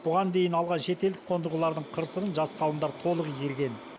бұған дейін алған шетелдік қондырғылардың қыр сырын жас ғалымдар толық игерген